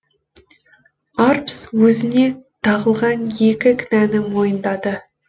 арпс өзіне тағылған екі кінәні мойындады